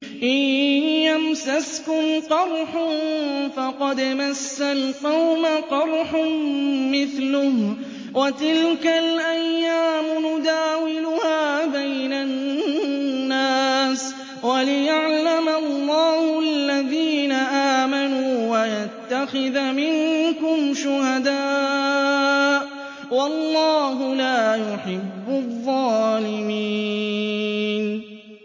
إِن يَمْسَسْكُمْ قَرْحٌ فَقَدْ مَسَّ الْقَوْمَ قَرْحٌ مِّثْلُهُ ۚ وَتِلْكَ الْأَيَّامُ نُدَاوِلُهَا بَيْنَ النَّاسِ وَلِيَعْلَمَ اللَّهُ الَّذِينَ آمَنُوا وَيَتَّخِذَ مِنكُمْ شُهَدَاءَ ۗ وَاللَّهُ لَا يُحِبُّ الظَّالِمِينَ